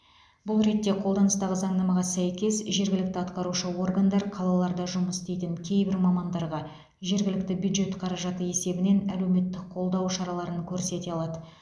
бұл ретте қолданыстағы заңнамаға сәйкес жергілікті атқарушы органдар қалаларда жұмыс істейтін кейбір мамандарға жергілікті бюджет қаражаты есебінен әлеуметтік қолдау шараларын көрсете алады